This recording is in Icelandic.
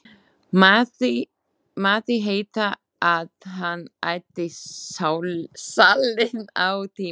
Mátti heita að hann ætti salinn á tímabili.